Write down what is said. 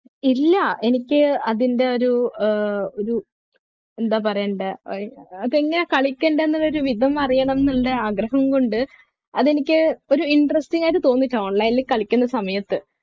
ഇല്ല എനിക്ക് അതിൻ്റെ ഒരു ഏർ ഇത് എന്താ പറയണ്ടേ അതെങ്ങനാ കളിക്കണ്ടേ എന്നൊരു വിധം അറിയണം ഉണ്ടേ ആഗ്രഹം കൊണ്ട് അത് എനിക്ക് ഒരു interesting ആയിട്ട് തോന്നിട്ട online ൽ കളിക്കുന്ന സമയത്ത്